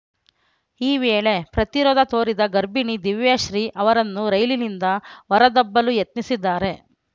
ಈ ವೇಳೆ ಪ್ರತಿರೋಧ ತೋರಿದ ಗರ್ಭಿಣಿ ದಿವ್ಯಾಶ್ರೀ ಅವರನ್ನು ರೈಲಿನಿಂದ ಹೊರ ದಬ್ಬಲು ಯತ್ನಿಸಿದ್ದಾರೆ